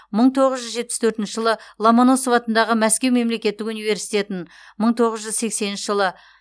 мың тоғыз жүз жетпіс төртінші жылы ломоносов атындағы мәскеу мемлекеттік университетін мың тоғыз жүз сексенінші жылы